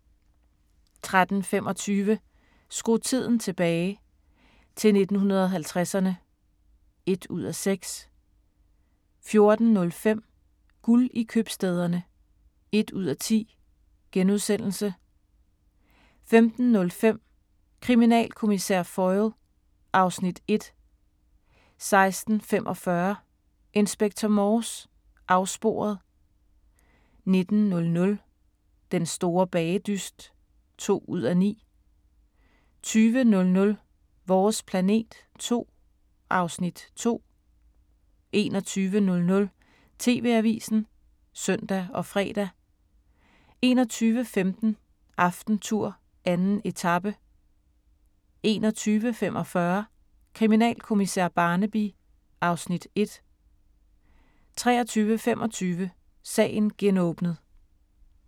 13:25: Skru tiden tilbage – til 1950'erne (1:6) 14:05: Guld i købstæderne (1:10)* 15:05: Kriminalkommissær Foyle (Afs. 1) 16:45: Inspector Morse: Afsporet 19:00: Den store bagedyst (2:9) 20:00: Vores planet 2 (Afs. 2) 21:00: TV-avisen (søn og fre) 21:15: AftenTour: 2. etape 21:45: Kriminalkommissær Barnaby (Afs. 1) 23:25: Sagen genåbnet